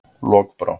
Lokbrá